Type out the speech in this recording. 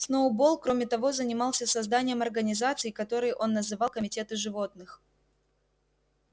сноуболл кроме того занимался созданием организаций которые он называл комитеты животных